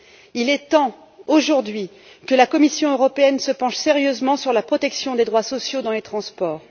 Il est temps, aujourd'hui, que la Commission européenne se penche sérieusement sur la protection des droits sociaux dans les transports.